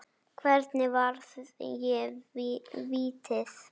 Hvernig varði ég vítið?